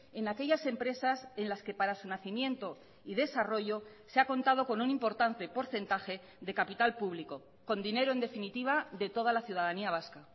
en aquellas empresas en las que para su nacimiento y desarrollo se ha contado con un importante porcentaje de capital público con dinero en definitiva de toda la ciudadanía vasca